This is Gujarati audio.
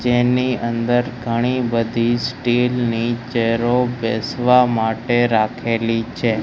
જેની અંદર ઘણી બધી સ્ટીલ ની ચેરો બેસવા માટે રાખેલી છે.